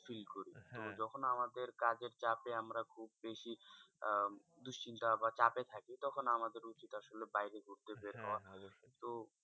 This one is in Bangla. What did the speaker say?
Feel করি। তো যখন আমাদের কাজের চাপে আমরা খুব বেশি আহ দুশ্চিন্তা বা চাপে থাকি তখন আমাদের উচিৎ আসলে বাইরে ঘুরতে বের হওয়া। তো